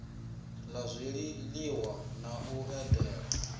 la zwiliwa na u edela